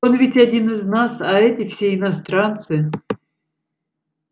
он ведь один из нас а эти все иностранцы